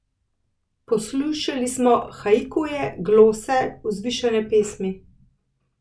Poslušali smo haikuje, glose, vzvišene pesmi ...